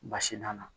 Basi nana